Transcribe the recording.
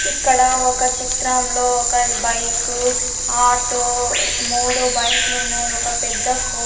ఇక్కడ ఒక చిత్రంలో ఒక బైకు ఆటో మూడు బైక్ లు ఉన్నాయి ఒక పెద్ద ఫో.